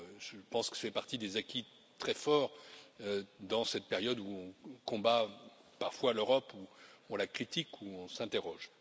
Je pense que cela fait partie des acquis très forts dans cette période où on combat parfois l'Europe, où on la critique, où on s'interroge.